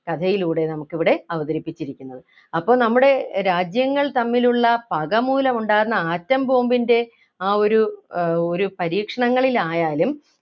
കഥയിലൂടെ നമുക്കിവിടെ അവതരിപ്പിച്ചിരിക്കുന്നത് അപ്പൊ നമ്മുടെ രാജ്യങ്ങൾ തമ്മിലുള്ള പക മൂലം ഉണ്ടാകുന്ന atom bomb ൻ്റെ ആ ഒരു ഏർ ഒരു പരീക്ഷണങ്ങളിലായാലും